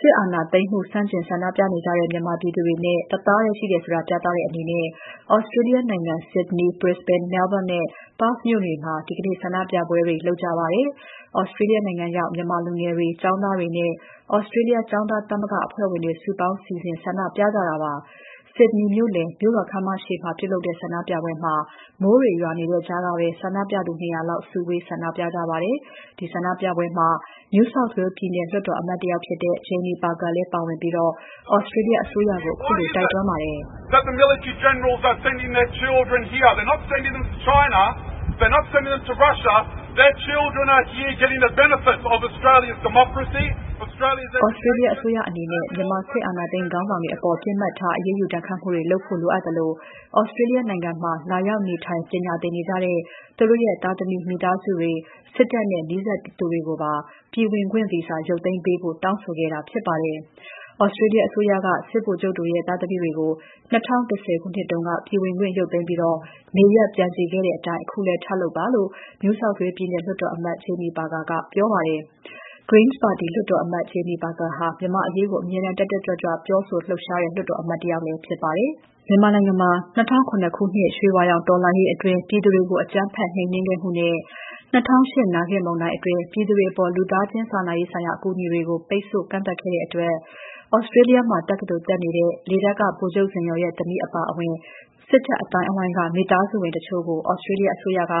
စစ်အာဏာသိမ်းမှုကို ဆန့်ကျင်ဆန္ဒပြနေကြတဲ့ မြန်မာပြည်သူတွေနဲ့ တသားတည်းရှိတယ်ဆိုတာ ပြသတဲ့အနေနဲ့ သြစတြေးလျနိုင်ငံ ဆစ်ဒနီ၊ ဘရစ္စဘိန်း၊ မဲလ်ဘုန်းနဲ့ ပါ့သ်မြို့တွေမှာ ဒီနေ့ ဆန္ဒပြပွဲတွေ လုပ်ခဲ့ကြပါတယ်။ သြစတြေးလျရောက် မြန်မာလူငယ်တွေ၊ ကျောင်းသားတွေနဲ့ သြစတြေးလျ ကျောင်းသားသမဂ္ဂ အဖွဲ့ဝင်တွေ စုပေါင်းစီစဉ် ဆန္ဒပြကြတာ ဖြစ်ပါတယ်။ ဆစ်ဒနီမြို့လယ် မြို့တော်ခန်းမရှေ့မှာ ပြုလုပ်တဲ့ ဆန္ဒပြပွဲမှာ မိုးတွေရွာနေတဲ့ကြားကပဲ ဆန္ဒပြသူ ၂၀၀ လောက် စုဝေး ဆန္ဒပြခဲ့ပါတယ်။ ဒီဆန္ဒပြပွဲမှာ NSW ပြည်နယ်လွှတ်တော်အမတ်တယောက်ဖြစ်တဲ့ Jamie Parker လည်းပါဝင်ပြီး သြစတြေးလျ အစိုးရကို ခုလိုတိုက်တွန်းခဲ့ပါတယ်။ “သြစတြေးလျအစိုးရ အနေနဲ့ မြန်မာစစ်အာဏာသိမ်း ခေါင်းဆောင်တွေအပေါ် ပစ်မှတ်ထား အရေးယူ ဒဏ်ခတ်မှုတွေလုပ်ဖို့ လိုအပ်သလို သြစတြေးလျနိုင်ငံမှာ လာရောက်နေထိုင် ပညာသင်နေကြတဲ့ သူတို့ရဲ့ သားသမီး မိသားစုတွေ၊ စစ်တပ်နဲ့ နီးစပ်သူတွေကိုပါ ပြည်ဝင်ခွင့်ဗီဇာ ရုပ်သိမ်းပေးဖို့ တောင်းဆိုခဲ့တာ ဖြစ်ပါတယ်။ သြစတြေးလျ အစိုးရက စစ်ဗိုလ်ချုပ်တွေရဲ့ သားသမီးတွေကို ၂၀၁၀ ခုနှစ်တုန်းက ပြည်ဝင်ခွင့်ရုပ်သိမ်းပြီး နေရပ်ပြန်စေခဲ့တဲ့အတိုင်း အခုလည်း ထပ်လုပ်ပါ။” လို့ NSW ပြည်နယ်လွှတ်တော်အမတ် Jamie Parker က ပြောပါတယ်။ Greens ပါတီ လွှတ်တော်အမတ် Jamie Parker ဟာ မြန်မာ့အရေးကို အမြဲတမ်း တက်တက်ကြွကြွ ပြောဆိုလှုပ်ရှားတဲ့ လွှတ်တော်အမတ်လည်း ဖြစ်ပါတယ်။ ၂၀၀၇ ခုနှစ် ရွှေဝါရောင်တော်လှန်ရေးအတွင်း ပြည်သူတွေကို အကြမ်းဖက် နှိမ်နင်းမှုနဲ့ ၂၀၀၈ နာဂစ်မုန်တိုင်းအတွင်း ပြည်သူတွေအပေါ် လူသားချင်း စာနာရေးဆိုင်ရာ အကူအညီတွေကို ပိတ်ဆို့ ကန့်သတ်ခဲ့တဲ့အတွက် သြစတြေးလျမှာ တက္ကသိုလ်တက်နေတဲ့ လေတပ်က ဗိုလ်ချုပ်ဇင်ယော်ရဲ့သမီး အပါအဝင် စစ်တပ်အသိုင်းအဝိုင်းက မိသားစုဝင်တချို့ကို သြစတြေးလျ အစိုးရက ၂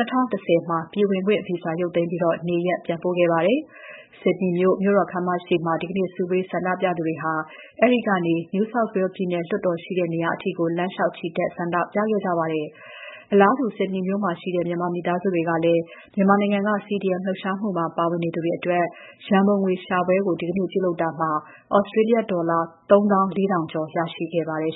၀၁၀ မှာ ပြည်ဝင်ခွင့်ဗီဇာ ရုပ်သိမ်းပြီး နေရပ်ပြန်ပို့ခဲ့ပါတယ်။ ဆစ်ဒနီမြို့ မြို့တော်ခန်းမရှေ့မှာ စုဝေးဆန္ဒပြသူတွေဟာ အဲဒီကနေ NSW ပြည်နယ်လွှတ်တော်ရှိတဲ့ နေရာအထိ လမ်းလျှောက်ချီတက် ဆန္ဒပြခဲ့ကြပါတယ်။ အလားတူ ဆစ်ဒနီမြို့မှာရှိတဲ့ မြန်မာမိသားစုတွေကလည်း မြန်မာနိုင်ငံက CDM လှုပ်ရှားမှုမှာ ပါဝင်နေသူတွေအတွက် ရန်ပုံငွေရှာပွဲကို ဒီနေ့ ပြုလုပ်ခဲ့ကြတာမှာ သြစတြေးလျဒေါ်လာ ၃၄,၀၀၀ ကျော် ရရှိခဲ့ပါတယ်